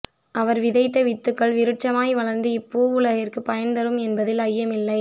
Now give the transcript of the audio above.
அவர் விதைத்த வித்துக்கள் விருட்சமாய் வளர்ந்து இப் பூவுலகிற்கு பயன் தரும் என்பதில் ஐயமில்லை